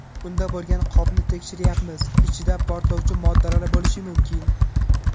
Unda bo‘lgan qopni tekshiryapmiz, ichida portlovchi moddalar bo‘lishi mumkin.